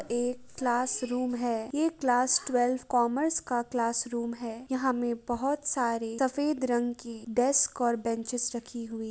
एक क्लासरूम है । यह क्लास ट्वेल्व कॉमर्स क्लास का रूम है । यहाँ पर बहोत सारी सफेद रंग डेस्क और बेंच रखी हुई --